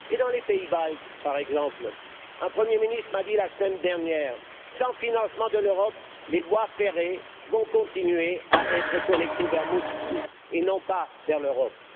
Dans les pays baltes, par exemple, un Premier ministre m'a dit la semaine dernière Sans financement de l'Europe, les voies ferrées vont continuer à être connectées vers Moscou, et non pas vers l'Europe.